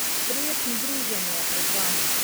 Prijetno druženje je pred vami.